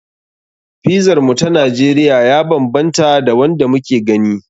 Pizar mu ta Najeriya ya banbanta da wanda muke gani.